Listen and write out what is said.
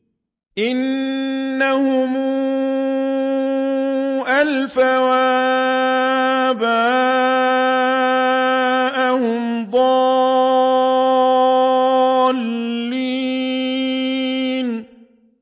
إِنَّهُمْ أَلْفَوْا آبَاءَهُمْ ضَالِّينَ